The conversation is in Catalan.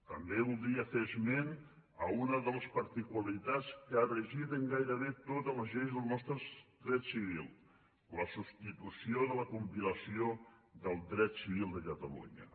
també voldria fer esment a una de les particularitats que ha regit en gairebé totes les lleis del nostre dret civil la substitució de la compilació del dret civil de catalunya